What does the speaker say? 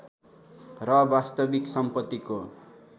र वास्तविक सम्पत्तिको